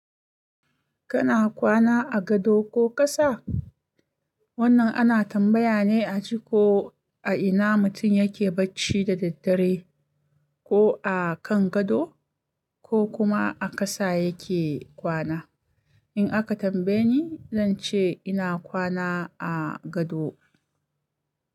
Kana kwana a gado ko ƙasa? Wannan ana tambaya ne a ji ko a ina mutum yake bacci da daddare, ko a kan gado ko kuma a ƙasa yake kwana. In aka tambaye ni, zan ce ina kwana a gado.